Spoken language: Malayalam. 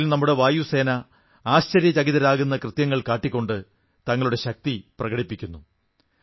അതിൽ നമ്മുടെ വായുസേന ആശ്ചര്യചകിതരാക്കുന്ന കൃത്യങ്ങൾ കാട്ടിക്കൊണ്ട് തങ്ങളുടെ ശക്തി പ്രകടിപ്പിക്കുന്നു